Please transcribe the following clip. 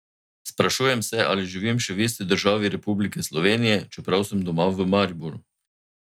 Sprašujem se, ali živim še v isti državi Republike Slovenije, čeprav sem doma v Mariboru.